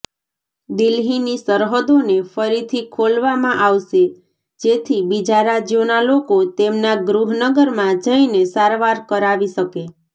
દિલ્હીની સરહદોને ફરીથી ખોલવામાં આવશે જેથી બીજા રાજ્યોના લોકો તેમના ગૃહનગરમાં જઈને સારવાર કરાવી શકે